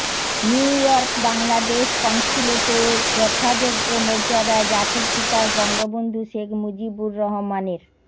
new ইয়র্ক বাংলাদেশ কনস্যুলেটে যথাযোগ্য মর্যাদায় জাতির পিতা বঙ্গবন্ধু শেখ মুজিবুর রহমানের